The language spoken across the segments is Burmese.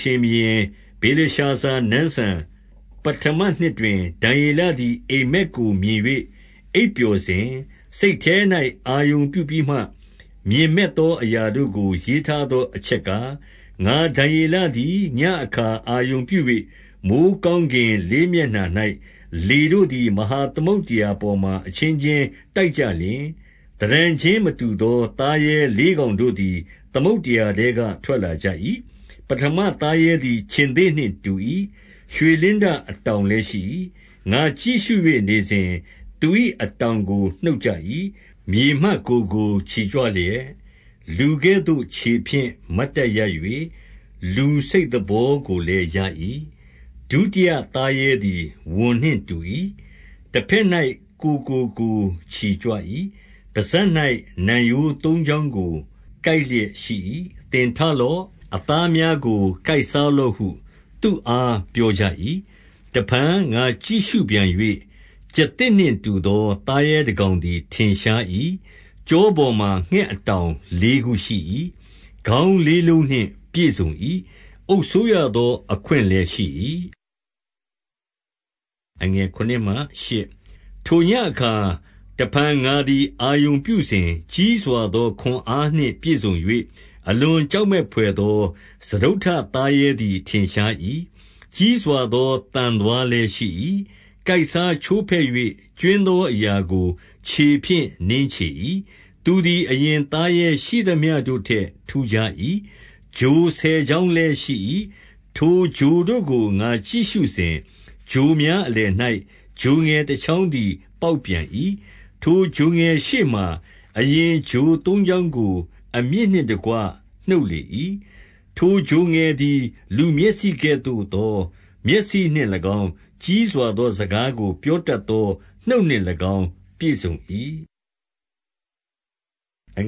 ရှင်ဘုရင် ဗေလရှာဇာနန်းစံ ပဌမ နှစ်တွင်၊ ဒံယေလသည် အိပ်မက်ကို မြင်၍ အိပ်ပျော်စဉ်၊ စိတ်ထဲ၌အာရုံပြုပြီးမှ မြင်မက်သော အရာတို့ကို ရေးထားသော အချက်ကား၊ 2 ငါ ဒံယေလသည် ညဉ့်အခါ အာရုံပြု၍၊ မိုဃ်း ကောင်းကင်လေးမျက်နှာ၌ လေတို့သည် မဟာသမုဒ္ဒရာ ပေါ်မှာ အချင်းချင်းတိုက်ကြလျှင်၊ 3 သဏ္ဌာန်ချင်းမတူသော သာရဲလေးကောင်တို့ သည် သမုဒ္ဒရာထဲက ထွက်လာကြ၏။ ပဌမသားရဲသည် ခြင်္သေ့နှင့်တူ၏။ ရွှေလင်းတအတောင်လည်း ရှိ၏။ 4 ငါ ကြည့်ရှု၍ နေစဉ်၊ သူ၏အတောင်ကို နှုတ်ကြ၏။ မြေမှ ကိုယ်ကို ချီကြွလျက် လူကဲ့သို့ ခြေဖြင့် မတ်တပ်ရပ်၍၊ လူစိတ်သဘောကိုလည်း ရ၏။ ဒုတိယ သားရဲသည် ဝံနှင့်တူ၏။ 5 တဘက်၌ ကိုယ်ကိုကိုယ်ချီကြွ၏။ ပစပ်၌ နံရိုး သုံးချောင်းကို ကိုက်လျက်ရှိ၏။ သင်ထလော့။ အသား များကို ကိုက်စားလော့ဟု သူ့အား ပြောကြ၏။ 6 တဖန်ငါကြည့်ရှုပြန်၍၊ ကျားသစ်နှင့်တူသော သားရဲတကောင်သည် ထင်ရှား၏။ ကျောပေါ်မှာ ငှက် အတောင်လေးခုရှိ၏။ ခေါင်းလေးလုံးနှင့်ပြည့်စုံ၏။ အုပ်စိုးရသော အခွင့်လည်းရှိ၏။ 7 ထိုညဉ့်အခါ၊ တဖန်ငါသည် အာရုံပြုစဉ်၊ ကြီးစွာ သော ခွန်အားနှင့်ပြည့်စုံ၍ အလွန်ကြောက်မက်ဘွယ် သော စတုတ္ထသားရဲသည် ထင်းရှား၏။ ကြီးစွာသော သံသွားလည်းရှိ၏။ ကိုက်စားချိုးဖဲ့၍ ကြွင်းသော အရာကို ခြေဖြင့် နင်းချေ၏။ သူသည်အရင်သားရဲရှိသမျှတို့ထက် ထူးခြား၏။ ချိုဆယ်ချောင်းလည်း ရှိ၏။ 8 ထိုချိုတို့ကို ငါကြည့်ရှုစဉ်၊ ချိုများအလယ်၌ ချိုငယ်တချောင်းသည် ပေါက်ပြန်၏။ ထိုချိုငယ်ရှေ့မှာ အရင်ချိုသုံးချောင်းကို အမြစ်နှင့်တကွ နှုတ်လေ၏။ ထိုချိုငယ်သည် လူမျက်စိကဲ့သို့သော မျက်စိနှင့်၎င်း၊ ကြီးစွာသော စကားကို ပြောတတ်သော နှုတ်နှင့်၎င်း ပြည့်စုံ၏။ 9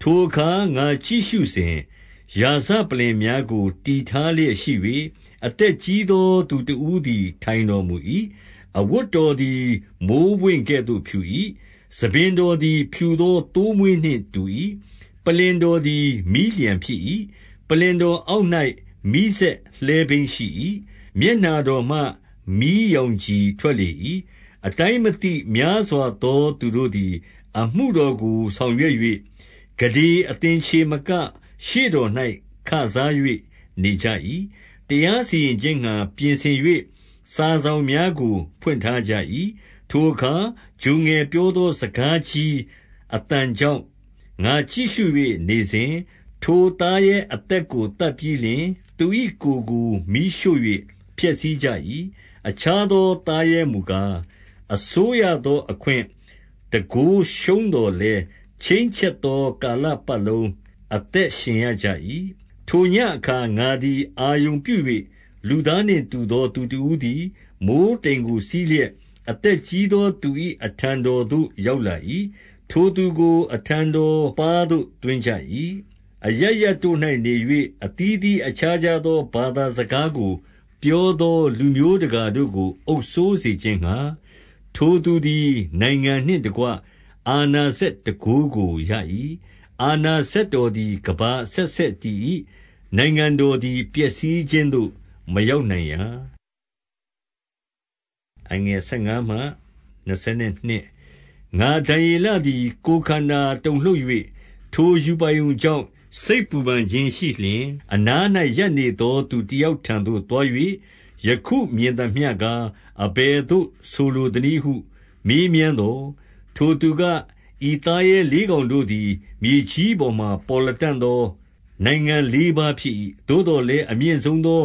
ထိုအခါ ငါကြည့်ရှုစဉ်၊ ရာဇပလ္လင်များကို တည်ထားလျက်ရှိ၍၊ အသက်ကြီးသော သူတဦးသည် ထိုင်တော်မူ၏။ အဝတ်တော်သည် မိုဃ်းပွင့်ကဲ့သို့ဖြူ၏။ ဆံပင်တော်သည် ဖြူသော သိုးမွှေးနှင့်တူ၏။ ပလ္လင် တော်သည် မီးလျှံဖြစ်၏။ ပလ္လင်တော်အောက်၌ မီးစက် လှည်းဘီးရှိ၏။ 10 မျက်နှာတော်မှာ မီးရောင်ခြည်ထွက်လေ၏။ အတိုင်းမသိ များစွာသော သူတို့သည် အမှုတော်ကို ဆောင်ရွက်၍၊ ကုဋေသင်္ချေမက ရှေ့တော်၌ ခစား၍ နေကြ၏။ တရားစီရင်ခြင်းငှါ ပြင်ဆင်၍ စာစောင်များ ကိုဖွင့်ထားကြ၏။ 11 ထိုအခါ ချိုငယ်ပြောသော စကားကြီး အသံ ကြောင့် ငါကြည့်ရှု၍ နေစဉ်၊ ထိုသားရဲအသက်ကို သတ်ပြီးလျှင် သူ၏ ကိုယ်ကိုမီးရှို့၍ ဖျက်ဆီးကြ၏။ 12 အခြားသော သားရဲမူကား၊ အစိုးရသော အခွင့် တန်းခိုးရှုံးသော်လည်း၊ ချိန်းချက်သော ကာလပတ်လုံး အသက်ရှင်ရကြ၏။ 13 ထိုညဉ့်အခါ ငါသည် အာရုံပြု၍၊ လူသားနှင့် တူသောသူတဦးသည် မိုဃ်းတိမ်ကိုစီးလျက်၊ အသက်ကြီး သော သူ၏အထံတော်သို့ ရောက်လာ၏။ ထိုသူကို အထံတော်ပါးသို့သွင်းကြ၏။ 14 အရပ်ရပ်တို့၌နေ၍ အသီးသီးအခြားခြားသော ဘာသာစကားကို ပြောသောလူမျိုးတကာတို့ကို အုပ်စိုးစေခြင်းငှာ၊ ထိုသူသည် နိုင်ငံနှင့် တကွ အာဏာစက်တန်ခိုးကိုရ၏။ အာဏာစက်တော် သည် ကမ္ဘာအဆက်ဆက်တည်၏။ နိုင်ငံတော်သည် ပျက်စီးခြင်းသို့ မရောက်နိုင်ရာ။ 15 ငါဒံယေလသည် ကိုယ်ခန္ဓာတုန်လှုပ်၍၊ ထိုရူပါရုံ ကြောင့် စိတ်ပူပန်ခြင်းရှိလျှင် 16 အနား၌ ရပ်နေသော သူတယောက်ထံသို့ သွား၍ ယခုမြင်သမျှကား၊ အဘယ်သို့ဆိုလိုသနည်းဟု မေးမြန်သော်၊ 17 ထိုသူက၊ ဤသားရဲလေးကောင်တို့သည် မြေကြီး ပေါ်မှာ ပေါ်လတံ့သော နိုင်ငံလေးပါးဖြစ်၏။ 18 သို့သော်လည်း၊ အမြင့်ဆုံးသော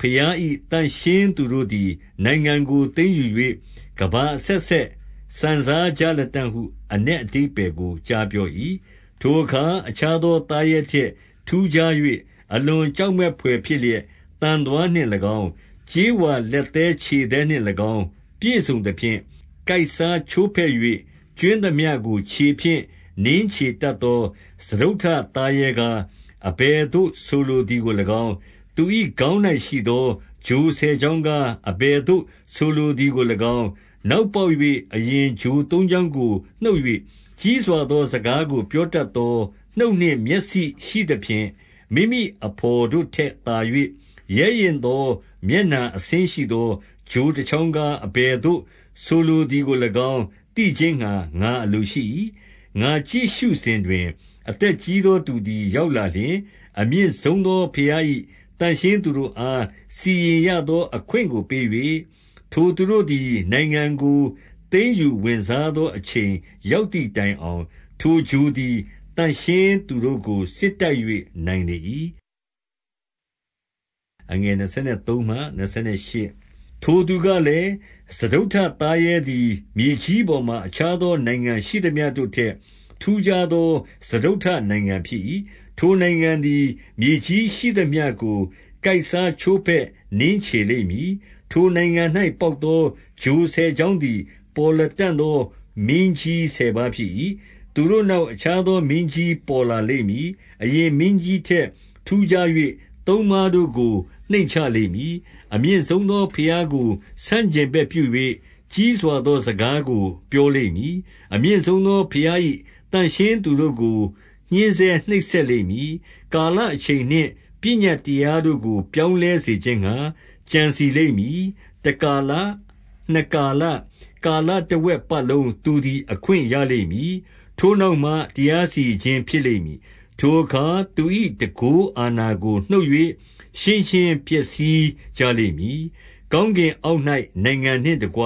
ဘုရား၏ သန့် ရှင်းသူတို့သည် နိုင်ငံကိုသိမ်းယူ၍ ကမ္ဘာအဆက်ဆက် စံစား ကြလတံ့ဟု အနက်အဓိပ္ပါယ်ကို ကြားပြော၏။ 19 ထိုအခါ အခြားသော သားရဲထက်ထူးခြား၍ အလွန်ကြောက်မက်ဘွယ်ဖြစ်လျက်၊ သံသွားနှင့်၎င်း၊ ကြေး ဝါလက်သည်းခြေသည်းနှင့်၎င်း ပြည့်စုံသဖြင့်၊ ကိုယ်စား ချိုးဖဲ့၍ ကြွင်းသမျှကို ခြေဖြင့်နင်းချေတတ်သော စတုတ္ထသားရဲကား၊ အဘယ်သို့ဆိုလိုသည်ကို၎င်း၊ 20 သူ၏ခေါင်း၌ရှိသော ချိုဆယ်ချောင်းကား၊ အဘယ်သို့ဆိုလိုသည်ကို၎င်း၊ နောက်ပေါက်၍ အရင်ချို သုံးချောင်းကိုနှုတ်၍၊ ကြီးစွာသော စကားကို ပြောတတ် သော နှုတ် နှင့် မျက်စိရှိသဖြင့်၊ မိမိအဘော်တို့ ထက်သာ၍ ရဲရင့်သော မျက်နှာအဆင်းရှိသော ချိုတချောင်းကား၊ အဘယ်သို့ ဆိုလို သည်ကို၎င်း သိခြင်းငှါ ငါအလိုရှိ၏။ 21 ငါကြည့်ရှုစဉ်တွင် အသက်ကြီးသောသူသည် ရောက်လာလျှင်၊ အမြင့်ဆုံးသော ဘုရား၏ သန့်ရှင်းသော သူတို့အား စီရင်ရသော အခွင့်ကို ပေး၍၊ 22 ထိုသူတို့သည် နိုင်ငံကိုသိမ်းယူဝင်စားသော အချိန်ရောက်သည့်တိုင် အောင် ထိုချိုသည် သန့်ရှင်းသူတို့ကို စစ်တိုက်၍ နိုင်လေ ၏။ 23 ထိုသူကလည်း စတုတ္ထသားရဲသည် မြေကြီးပေါ် မှာ အခြားသော နိုင်ငံရှိသမျှတို့ထက် ထူးခြားသော စတုတ္ထနိုင်ငံရှိသမျှတို့ထက် ထူးခြားသော စတုတ္ထနိုင်ငံ ဖြစ်၏။ ထိုနိုင်ငံသည် မြေကြီးရှိသမျှကို ကိုယ်စားချိုးဖဲ့ နင်းချေလိမ့်မည်။ 24 ထိုနိုင်ငံ၌ ပေါက်သော ချိုဆယ်ချောင်းသည် ပေါ်လတံ့သော မင်းကြီးဆယ်ပါးဖြစ်၏။ သူတို့နောက် အခြားသော မင်းကြီးပေါ်လာလိမ့်မည်။ အရင်မင်းကြီး ထက် ထူးခြား၍ သုံးပါးတို့ကို နှိမ့်ချလိမ့်မည်။ 25 အမြင့်ဆုံးသော ဘုရားကို ဆန့်ကျင်ဘက်ပြု၍၊ ကြီးစွာသော စကားကို ပြောလိမ့်မည်။ အမြင့်ဆုံးသော ဘုရား၏သန့်ရှင်းသူတို့ကို ညှဉ်းဆဲနှိပ်စက်လိမ့်မည်။ ကာလအချိန်နှင့်ပညတ်တရားတို့ကို ပြောင်းလဲစေခြင်းငှါ ကြံစည်လိမ့်မည်။ တကာလ၊ နှစ်ကာလ၊ ကာလတဝက် ပတ်လုံး သူသည် အခွင့်ရလိမ့်မည်။ 26 ထိုနောက်မှ တရားစီရင်ခြင်း ဖြစ်လိမ့်မည်။ ထိုအခါသူ၏ တန်ခိုးအာဏာကို နှုတ်၍ရှင်းရှင်း ဖျက်ဆီး ကြလိမ့်မည်။ 27 ကောင်းကင်အောက်၌ နိုင်ငံနှင့်တကွ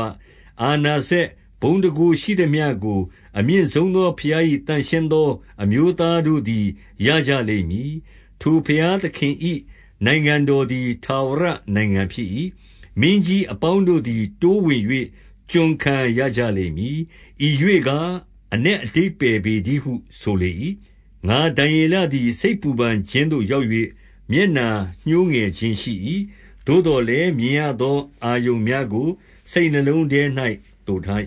အာဏာ စက် ဘုန်းတန်ခိုးရှိသမျှကို အမြင့်ဆုံးသော ဘုရား၏ သန့်ရှင်းသော အမျိုးသားတို့သည် ရကြလိမ့်မည်။ ထို ဘုရားသခင်၏ နိုင်ငံတော်သည် ထာဝရနိုင်ငံဖြစ်၏။ မင်းကြီး အပေါင်းတို့သည် တိုးဝင်၍ ကျွန်ခံရကြလိမ့်မည်။ 28 ဤရှေ့ကား အနက်အဓိပ္ပါယ်ပေတည်းဟု ဆိုလေ၏။ ငါဒံယေလသည် စိတ်ပူပန်ခြင်းသို့ရောက်၍ မျက်နှာညှိုးငယ်ခြင်းရှိ၏။ သို့သော်လည်း မြင်ရသော အာရုံများကို စိတ်နှလုံးထဲ၌သိုထား